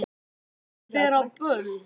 Hún fer á böll!